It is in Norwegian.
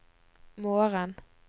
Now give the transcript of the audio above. morgen